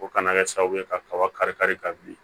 O kana kɛ sababu ye kaba kari kari ka bin